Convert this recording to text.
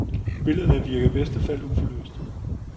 Billederne virker i bedste fald uforløste.